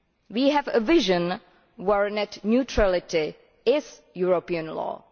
We have a vision where net neutrality is European law.